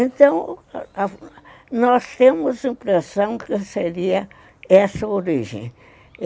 Então, nós temos a impressão que seria essa origem.